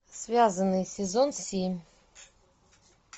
связанный сезон семь